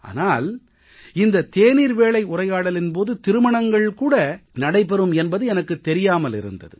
ஆனால் இந்த தேநீர் வேளை உரையாடலின் போது திருமணங்கள் கூட நடைபெறும் என்பது எனக்குத் தெரியாமல் இருந்தது